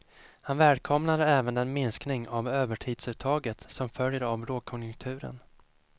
Han välkomnar även den minskning av övertidsuttaget som följer av lågkonjunkturen.